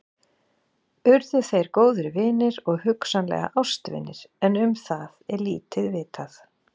Urðu þeir góðir vinir og hugsanlega ástvinir en um það er lítið vitað.